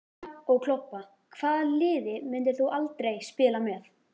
Brosa og klobba Hvaða liði myndir þú aldrei spila með?